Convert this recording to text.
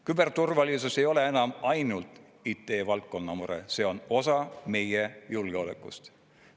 Küberturvalisus ei ole enam ainult IT-valdkonna mure, see on osa meie julgeolekust.